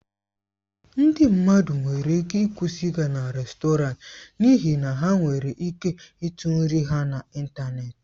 Ndị mmadụ nwere ike ịkwụsị ịga rèstọrantị n'ihi na ha nwere ike ịtụ nri ha n'ịntanetị.